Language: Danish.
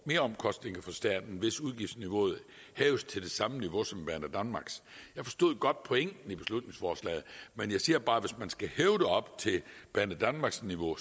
meromkostninger for staten hvis udgiftsniveauet hæves til det samme niveau som banedanmarks jeg forstår godt pointen i beslutningsforslaget men jeg siger bare at hvis man skal hæve det op til banedanmarks niveau